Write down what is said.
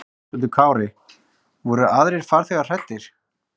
Höskuldur Kári: Voru aðrir farþegar hræddir?